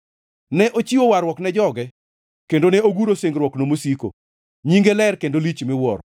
Ne ochiwo warruok ne joge, kendo ne oguro singruokne mosiko; nyinge ler kendo lich miwuoro.